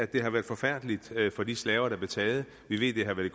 det har været forfærdeligt for de slaver der blev taget vi ved det har været